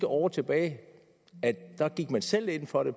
år tilbage gik man selv ind for det